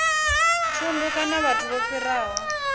thundu kana vhathu vho fhiraho